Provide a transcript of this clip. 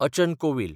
अचन कोवील